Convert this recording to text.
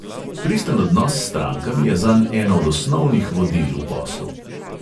Pristen odnos s strankami je zanj eno od osnovnih vodil v poslu.